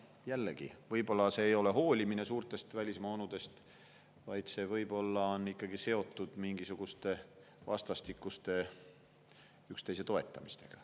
Jällegi, võib-olla see ei olegi hoolimine suurtest välismaa onudest, see võib olla ikkagi seotud mingisuguse vastastikuse üksteise toetamisega.